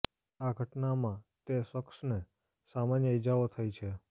આ ઘટનામાં તે શખસને સામાન્ય ઈજાઓ થઈ છે